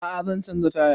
A'a zan canza taya